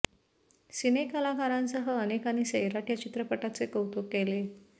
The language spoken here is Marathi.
सिने कलाकारांसह अनेकांनी सैराट या चित्रपटाचे कौतुक केले